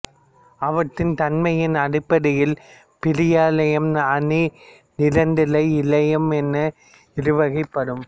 அவற்றின் தன்மையின் அடிப்படையில் பிரியிழையம் அ நிரந்தர இழையம் என இரு வகைப்படும்